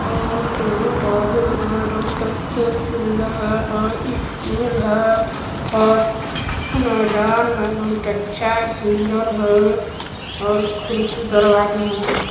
और दरवाज़े है बहुत अच्छे सुन्दर है और स्कूल है और मजार है बहुत अच्छा सन्दर है और खिड़की दरवाजे है।